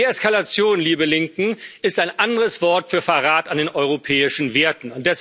Deeskalation, liebe Linken, ist ein anderes Wort für Verrat an den europäischen Werten.